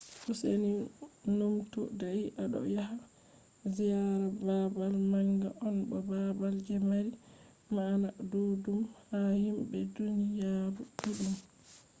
useni numtu dai aɗo yaha ziyara babal manga on, bo babal je mari ma'ana ɗuɗɗum ha himɓe duniyaru ɗuɗɗum